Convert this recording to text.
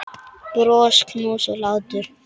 Bros, knús og hlátur.